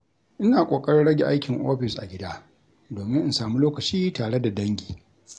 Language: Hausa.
Ina ƙoƙarin rage aikin ofis a gida domin in sami lokaci tare da dangi.